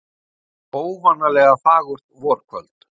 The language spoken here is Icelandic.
Þetta var óvanalega fagurt vorkvöld.